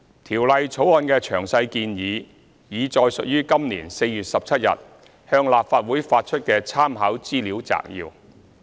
《條例草案》的詳細建議，已載述於今年4月17日向立法會發出的參考資料摘要。